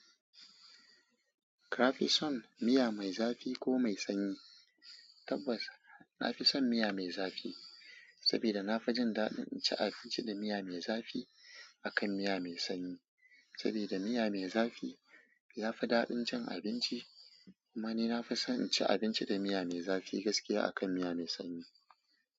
Ka fi son miya mai zafi ko mai sanyi? Tabbas na fi son miya mai zafi, saboda na fi jin daɗin cin abinci da miya mai zafi akan miya mai sanyi. Saboda da miya mai zafi ya fi daɗin cin abinci, kuma ni na fi son cin abinci da miya mai zafi gaskiya akan miya mai sanyi.